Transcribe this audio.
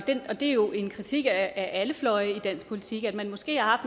og det er jo en kritik af alle fløje i dansk politik at man måske har